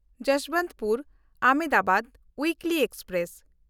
Yesvantpur-Ahmedabad ᱩᱭᱤᱠᱞᱤ express